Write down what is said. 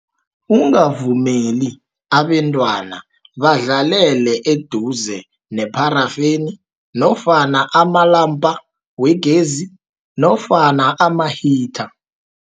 Ungavumeli abentwana badlalele eduze nepharafeni nofana amalampa wegezi nofana ama-heater.